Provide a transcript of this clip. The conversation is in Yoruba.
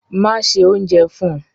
Máṣẹ̀ ṣẹ ọ̀unjẹ fun!